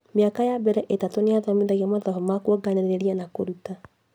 Mĩaka ya mbere itatũ nĩathomithagio mathabu ta kuonganĩrĩria na kũruta